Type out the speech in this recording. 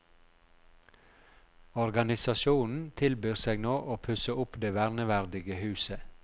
Organisasjonen tilbyr seg nå å pusse opp det verneverdige huset.